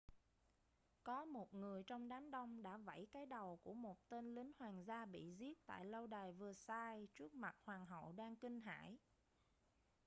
có một người trong đám đông đã vẫy cái đầu của một tên lính hoàng gia bị giết tại lâu đài versailles trước mặt hoàng hậu đang kinh hãi